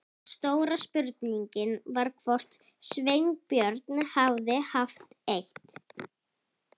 Stóra spurningin var hvort Sveinbjörn hefði haft eitt